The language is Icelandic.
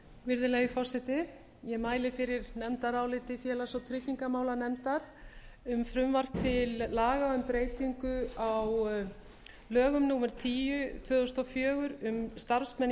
virðulegi forseti ég mæli fyrir nefndaráliti félags og tryggingamálanefndar um frumvarp til laga um breytingu á lögum númer tíu tvö þúsund tvö hundruð og fjögur um starfsmenn í